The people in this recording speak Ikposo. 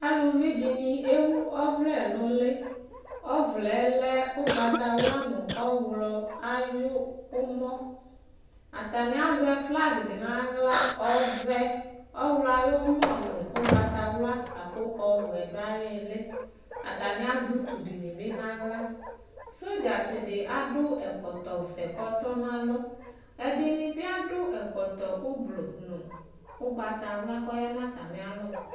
Alʋvi di ni ewʋ ɔvlɛ nʋ li Ɔvlɛ yɛ lɛ ʋgbatawla nʋ ɔwlɔ ayumɔ Atani azɛ flagi di n'aɣla, ɔvɛ, ɔwlɔ ayumɔ nʋ ʋgbatawla la kʋ ɔwɛ dʋ ay'ili Atani azɛ utu di ni bi n'aɣla Sodzatsi di adʋ ɛkɔtɔ vɛ kʋ ɔtɔnalʋ Ɛdini bi adʋ ɛkɔtɔ ʋblʋ nʋ ʋgbatawla kɔya nʋ atami alɔ